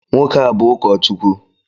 Nwoke a bụ ụkọchukwu